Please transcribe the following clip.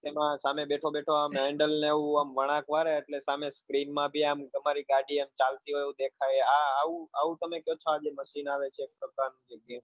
તેમાં સામે બેઠો બેઠો આમ handle ને એવું આમ વળાંક મારે એટલે સામે screen માં બી તમારી ગાડી ચાલતી હોય એવું દેખાય આ આવું તમે